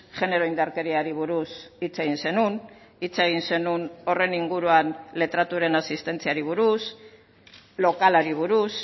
genero indarkeriari buruz hitz egin zenuen hitz egin zenuen horren inguruan letratuaren asistentziari buruz lokalari buruz